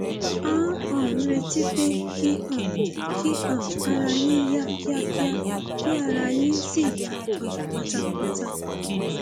à ń um retí pé kí um kí um ara yín yá kíákíá kí ara yín sì yá um pátápátá